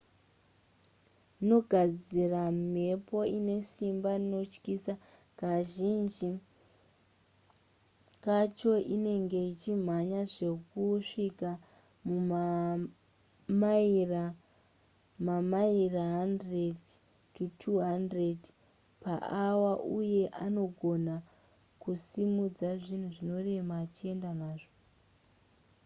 nogadzira mhepo ine simba rinotyisa kazhinji kacho inenge ichimhanya zvekusvika mamaira mamaira 100-200 paawa uye anogona kusimudza zvinhu zvinorema achienda nazvo